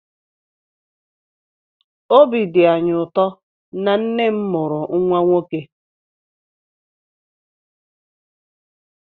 Obi dị anyị ụtọ na nne m mụrụ nwa nwoke